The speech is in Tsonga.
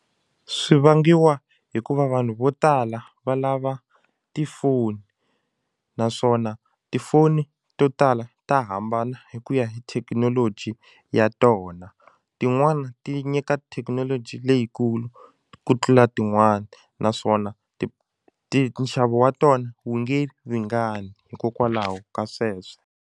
Swi vangiwa hikuva vanhu vo tala va lava tifoni naswona tifoni to tala ta hambana hi ku ya hi thekinoloji ya tona tin'wani ti nyika thekinoloji leyikulu ku tlula tin'wani naswona ti ti nxavo wa tona wu nge ringani hikokwalaho ka sweswo.